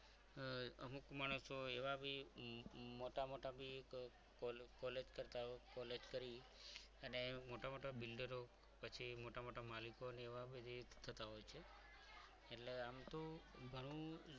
અમુક માણસો એવા બી મોટા મોટા college કરતા college કરી અને મોટા મોટા બિલ્ડરો પછી પછી મોટા મોટા માલિકોને એવા થતા હોય છે એટલે આમ તો ઘણું